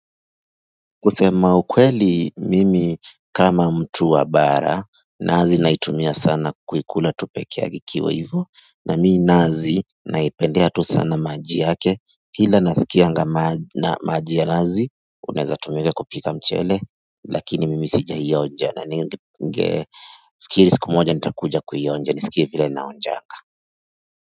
Kusema ukweli mimi kama mtu wa bara nazi naitumia sana kuikula tu peke yake ikiwa hivyo na mimi nazi naipendea tu sana maji yake ila nasikia na maji ya nazi unaweza tumika kupika mchele lakini mimi sijai onja na ningefikiri siku moja nitakuja kuionja nisikie vila inaonjanga.